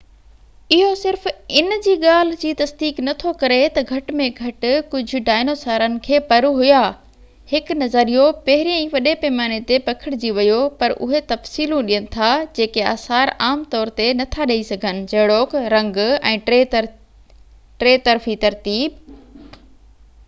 اهو صرف ان جي ڳالهہ جي تصديق نٿو ڪري تہ گهٽ ۾ گهٽ ڪجهہ ڊائنوسارن کي پر هيا، هڪ نظريو پهرين ئي وڏي پيماني تي پکيڙجي ويو، پر اهي تفصيلون ڏين ٿا جيڪي آثار عام طور تي نٿا ڏيئي سگهن، جهڙوڪ رنگ ۽ ٽي طرفي ترتيب